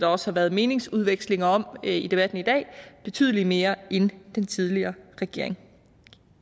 også har været meningsudvekslinger om i debatten i dag betydelig mere end den tidligere regering